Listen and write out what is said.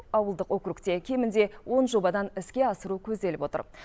ауылдық округте кемінде он жобадан іске асыру көзделіп отыр